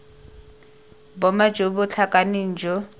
boma jo bo tlhakaneng jo